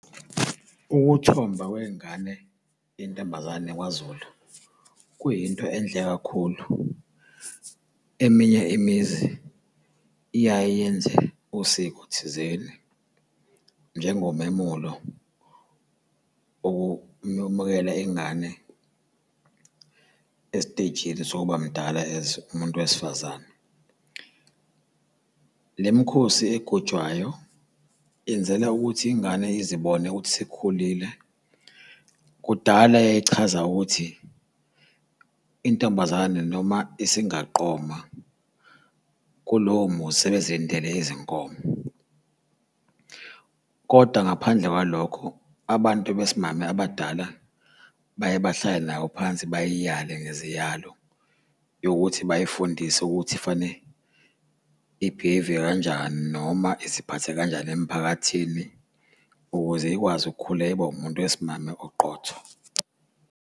Ukuthomba kwengane yentombazane kwaZulu kuyinto enhle kakhulu. Eminye imizi iyaye yenze usiko thizeni, njengomemulo ukuyomukela ingane esitejini sokuba mdala as umuntu wesifazane. Le mikhosi egujwayo yenzela ukuthi ingane izibone ukuthi isikhulile. Kudala yayichaza ukuthi intombazane noma isingaqoma. Kulowo muzi sebezilindele izinkomo, kodwa ngaphandle kwalokho abantu besimame abadala baye bahlale nayo phansi bayiyale ngeziyalo yokuthi bayifundise ukuthi fanele ibhiheyive kanjani noma iziphathe kanjani emphakathini ukuze ikwazi ukukhula ibe umuntu wesimame oqotho.